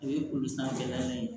O ye kolosandan ye